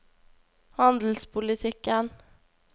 handelspolitikken